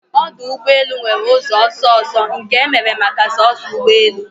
Ọdụ ụgbọ elu nwere ụzọ ọsọ ọsọ nke emere maka soso ụgbọ elu